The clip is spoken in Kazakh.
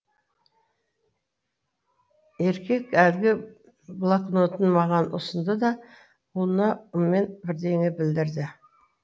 еркек әлгі блакнотын маған ұсынды да ұлына ыммен бірдеңе білдірді